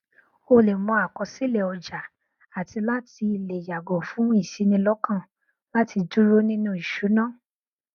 ó lẹ mọ àkọsílẹ ọjà àti láti lè yàgò fún ìṣinilọkàn láti dúró nínú ìṣúná